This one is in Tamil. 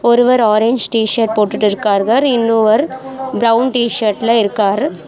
ஒருவர் ஆரஞ்சு டீ_ஷர்ட் போட்டுட்டிருக்கார்கர் இன்னொவர் பிரவுன் டீ_ஷர்ட்ல இருக்கார்.